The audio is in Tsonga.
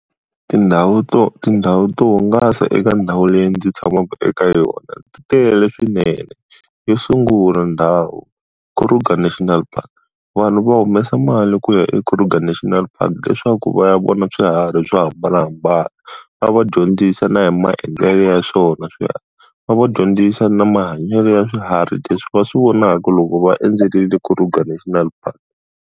Tindhawu to tindhawu to hungasa eka ndhawu leyi ndzi tshamaka eka yona, ti tele swinene. Yo sungula ndhawu, Kruger National Park. Vanhu va humesa mali ku ya eKruger National Park leswaku va ya vona swiharhi swo hambanahambana. Va va dyondzisa na hi maendlelo ya swona va dyondzisa na mahanyelo ya swiharhi leswi va swi vonaka loko va endzerile Kruger National Park.